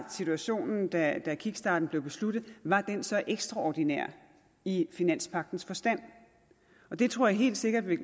situationen da kickstarten blev besluttet var så ekstraordinær i finanspagtens forstand det tror jeg helt sikkert ville